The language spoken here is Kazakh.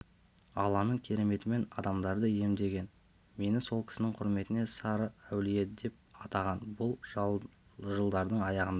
алланың кереметімен адамдарды емдеген мені сол кісінің құрметіне сары әулие деп атаған бүл жылдардың аяғында